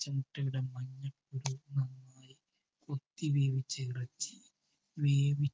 കൊത്തി വേവിച്ച ഇറച്ചി വേവി